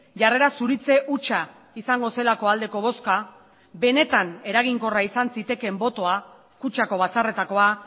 jarrera zuritze hutsa izango zelako aldeko bozka benetan eraginkorra izan zitekeen botoa kutxako batzarretakoa